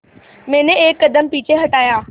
मैंने एक कदम पीछे हटाया